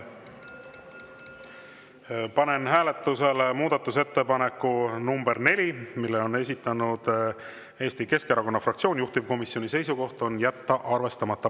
Panen hääletusele muudatusettepaneku nr 4, mille on esitanud Eesti Keskerakonna fraktsioon, juhtivkomisjoni seisukoht on jätta see arvestamata.